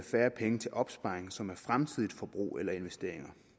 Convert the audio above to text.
færre penge til opsparing som er fremtidigt forbrug eller investeringer